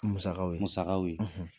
Musagaw ye, ye musagaw ye, .